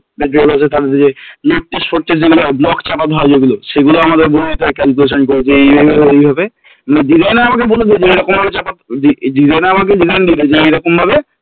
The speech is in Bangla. যে Block ছাড়াতে হয় যেগুলো সেগুলো আমাদের বলে দিতে হয় calculation করে যে এইভাবে এইভাবে designer আমাকে বলে দিলো যে এইরকম করে designer আমাকে যেখানে নিয়ে যাবে যে এইরকম ভাবে